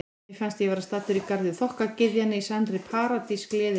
Mér fannst ég vera staddur í garði þokkagyðjanna, í sannri paradís gleðinnar.